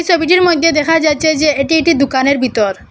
ছবিটির মইদ্যে দেখা যাচ্ছে যে এটি একটি দুকানের বিতর।